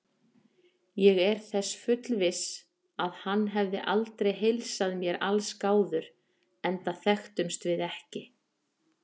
Ég er þess fullviss, að hann hefði aldrei heilsað mér allsgáður, enda þekktumst við ekki.